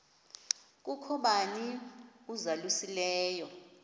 kukho bani uzalusileyo